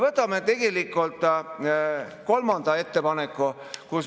Võtame ette kolmanda ettepaneku.